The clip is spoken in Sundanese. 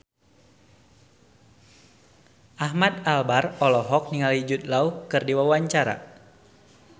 Ahmad Albar olohok ningali Jude Law keur diwawancara